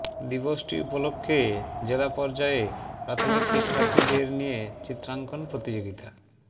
দিবসটি উপলক্ষে জেলা পর্যায়ে প্রাথমিক শিক্ষার্থীদের নিয়ে চিত্রাঙ্কন প্রতিযোগিতা